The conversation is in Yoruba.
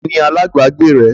Ta ni alágbàágbé rẹ?